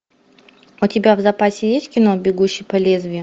у тебя в запасе есть кино бегущий по лезвию